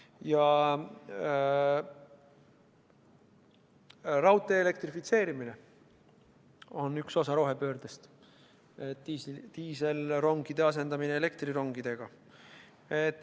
Ka raudtee elektrifitseerimine on üks osa rohepöördest, diiselrongide asendamine elektrirongidega.